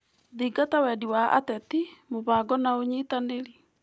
Thingata wendi wa ateti, mũbango na ũnyĩtanĩri.